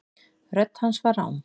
Rödd hans var rám.